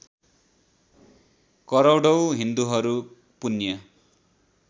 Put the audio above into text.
करोडौँ हिन्दूहरू पुण्य